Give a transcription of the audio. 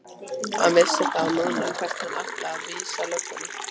Hann vissi þá núna hvert hann átti að vísa löggunni!